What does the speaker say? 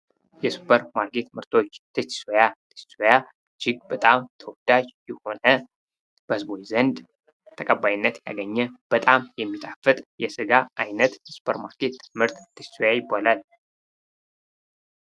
የሱፐር ማርኬት ምርቶች ቴስቲሶያ ቴስቲሶያ እጅግ በጣም ተወዳጅ የሆነ በህዝቡ ዘንድ ተቀባይነትን ያገኘ በጣም የሚጣፍጥ የስጋ አይነት የሱፐር ማርኬት ምርት ቴስቲሶያ ይባላል።